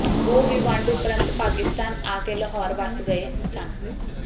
ਉਹ ਵੀ ਵੰਡ ਉਪਰੰਤ ਪਾਕਿਸਤਾਨ ਆ ਕੇ ਲਾਹੌਰ ਵਸ ਗਏ ਸਨ